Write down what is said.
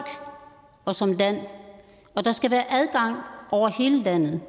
og som land og der skal være adgang over hele landet